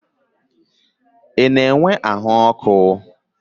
Ị na-enwe ahụ ọkụ a bidoro?